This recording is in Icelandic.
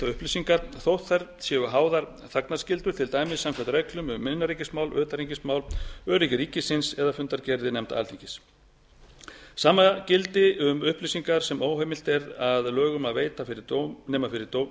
upplýsingar þótt þær séu háðar þagnarskyldu til dæmis samkvæmt reglum um innanríkismál utanríkismál öryggi ríkisins eða fundargerðir nefnda alþingis sama gildi um upplýsingar sem óheimilt er að lögum að veita fyrir dómi nema